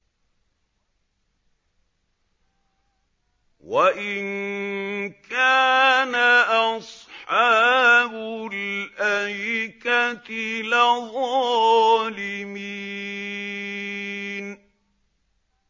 وَإِن كَانَ أَصْحَابُ الْأَيْكَةِ لَظَالِمِينَ